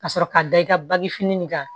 Ka sɔrɔ ka da i ka bagi fini nin kan